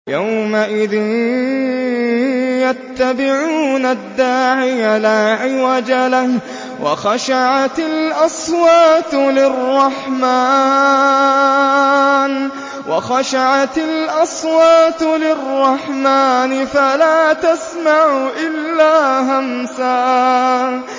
يَوْمَئِذٍ يَتَّبِعُونَ الدَّاعِيَ لَا عِوَجَ لَهُ ۖ وَخَشَعَتِ الْأَصْوَاتُ لِلرَّحْمَٰنِ فَلَا تَسْمَعُ إِلَّا هَمْسًا